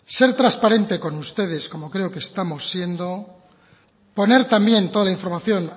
ser transparentes con ustedes como creo que estamos siendo poner también toda la información